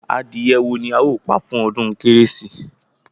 Adìyẹ wo ni a ó pa fún ọdún kérésì?